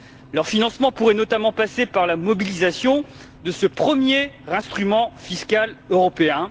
Leur financement pourrait notamment passer par la mobilisation de ce premier instrument fiscal européen.